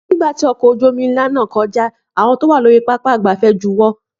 Nígbà tí ọkọ̀ ojú omi ológun ńlá náà kọjá, àwọn tí wọn wá lórí pápá ìgbafẹ́ juwọ́